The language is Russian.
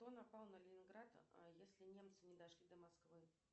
кто напал на ленинград если немцы не дошли до москвы